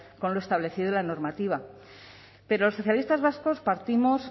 con lo establecido en la normativa pero los socialistas vascos partimos